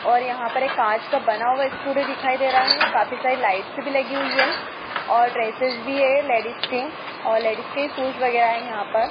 और यहां पर ये कांच का बना हुआ स्टूडियो दिखाई दे रहा है काफी सारी लाइट्स भी लगी हुई है और ड्रेसेस भी है लेडिस के और लेडिस के शूज वगैरा है यहां पर--